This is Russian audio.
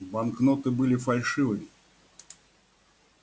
банкноты были фальшивыми